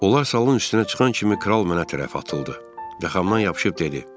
Onlar salın üstünə çıxan kimi kral mənə tərəf atıldı və yaxamdan yapışıb dedi: